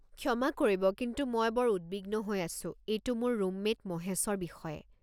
ক্ষমা কৰিব কিন্তু মই বৰ উদ্বিগ্ন হৈ আছো, এইটো মোৰ ৰুমমেট মহেশৰ বিষয়ে।